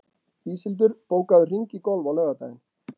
Íshildur, bókaðu hring í golf á laugardaginn.